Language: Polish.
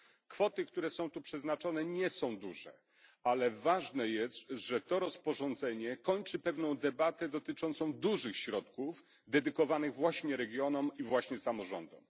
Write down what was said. Kwoty, które są tu przeznaczone, nie są duże, ale ważne jest, że to rozporządzenie kończy pewną debatę dotyczącą dużych środków dedykowanych właśnie regionom i samorządom.